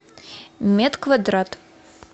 медквадрат